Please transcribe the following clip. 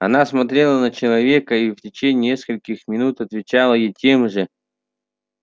она смотрела на человека и в течение нескольких минуто отвечала ей тем же